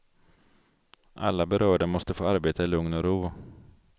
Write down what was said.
Alla berörda måste få arbeta i lugn och ro.